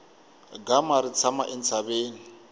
gama ri tshama entshaveni